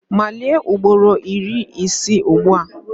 Malie ugboro iri ise ugbu a!